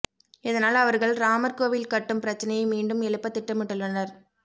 இதனால் அவர்கள் ராமர் கோவில் கட்டும் பிரச்சனையை மீண்டும் எழுப்ப திட்டமிட்டுள்ளனர்